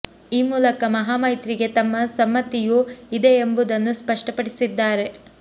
ಈ ಮೂಲಕ ಮಹಾ ಮೈತ್ರಿಗೆ ತಮ್ಮ ಸಮ್ಮತಿಯೂ ಇದೆ ಎಂಬುದನ್ನು ಸ್ಪಷ್ಟಪಡಿಸಿದ್ದಾರೆ